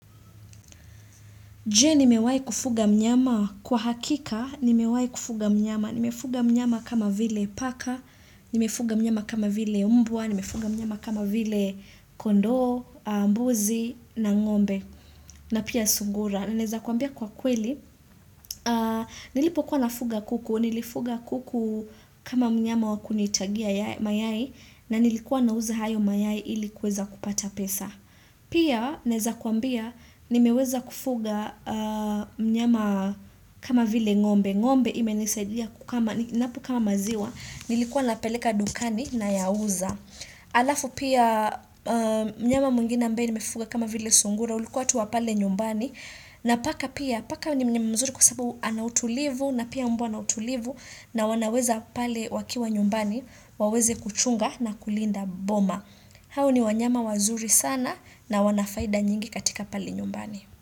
Je nimewai kufuga mnyama kwa hakika, nimewai kufuga mnyama, nimefuga mnyama kama vile paka, nimefuga mnyama kama vile mbwa, nimefuga mnyama kama vile kondoo, mbuzi, na ng'ombe, na pia sungura. Na naeza kuambia kwa kweli, nilipo kuwa nafuga kuku, nilifuga kuku kama mnyama wa kunitagia mayai, na nilikuwa na uza hayo mayai ili kuweza kupata pesa. Pia neza kuambia nimeweza kufuga mnyama kama vile ng'ombe ng'ombe ime nisaidia kukama, napo kama maziwa Nilikuwa napeleka dukani na yauza Alafu pia mnyama mwingine ambaye nimefuga kama vile sungura ulikuwa tu wa pale nyumbani na paka pia, paka ni mnyama mzuri kwa sababu anautulivu na pia mbwa anautulivu na wanaweza pale wakiwa nyumbani waweze kuchunga na kulinda boma hao ni wanyama wazuri sana na wanafaida nyingi katika pale nyumbani.